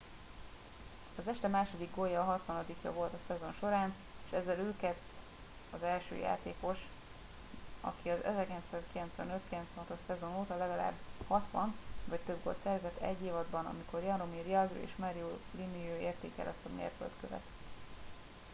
az este második gólja a hatvanadikja volt a szezon során és ezzel ő kett az első játékos aki az 1995-96-os szezon óta legalább 60 vagy több gólt szerzett egy évadban amikor jaromir jagr és mario lemieux érték el ezt a mérföldkövet